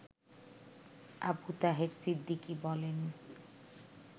আবু তাহের সিদ্দিকী বলেন